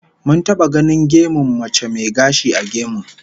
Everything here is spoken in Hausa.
Mun taba ganin gemun mace mai gashi a gemun